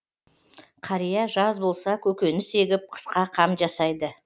қария жаз болса көкөніс егіп қысқа қам жасайды